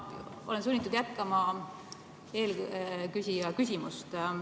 Ma olen sunnitud jätkama eelküsija küsimust.